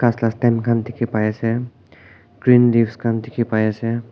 khan dekhe pai ase green leaves khan dekhe pai ase.